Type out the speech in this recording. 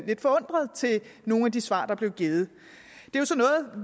lidt forundret til nogle af de svar der blev givet